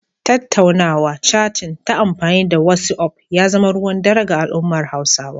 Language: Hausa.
Tattaunawa/catin ta amfani da wasi'of ya zama ruwan dare ga al'ummar Hausawa.